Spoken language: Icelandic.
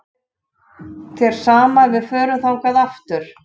Væri þér sama ef við förum þangað aftur?-